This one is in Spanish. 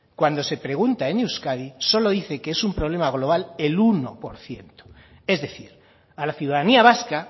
cuando se pregunta en euskadi solo dice que es un problema global el uno por ciento es decir a la ciudadanía vasca